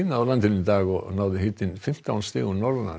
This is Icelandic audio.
á landinu í dag og náði hiti fimmtán stigum